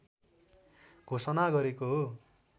घोषणा गरेको हो